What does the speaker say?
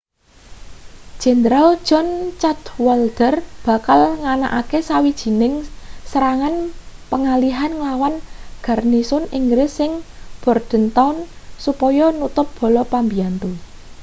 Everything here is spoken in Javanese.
jenderal john cadwalder bakal nganakake sawijining serangan pengalihan nglawan garnisun inggris ing bordentown supaya nutup bala pambiyantu